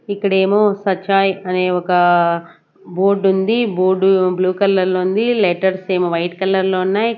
ఇక్కడేమో సచాయ్ అనే ఒక బోర్డుంది బోర్డు బ్లూ కలర్ లో ఉంది లెటర్స్ ఏమో వైట్ కలర్ లో ఉన్నాయ్.